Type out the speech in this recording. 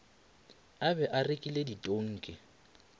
a be a rekile ditonki